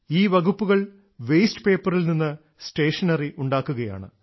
ഈ വകുപ്പുകൾ വേസ്റ്റ് പേപ്പറിൽ നിന്ന് സ്റ്റേഷനറി ഉണ്ടാക്കുകയാണ്